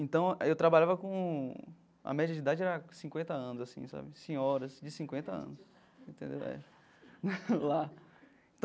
Então, eu trabalhava com... a média de idade era cinquenta anos assim sabe, senhoras de cinquenta anos. Entendeu, é, lá.